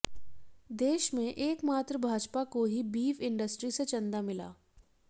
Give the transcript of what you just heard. देश में एक मात्र भाजपा को ही बीफ इंडस्ट्री से चंदा मिला